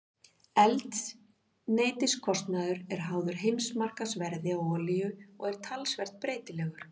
Eldsneytiskostnaður er háður heimsmarkaðsverði á olíu og er talsvert breytilegur.